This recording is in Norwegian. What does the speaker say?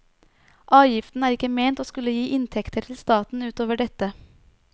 Avgiften er ikke ment å skulle gi inntekter til staten ut over dette.